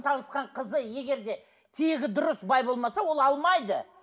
танысқан қызы егер де тегі дұрыс бай болмаса ол алмайды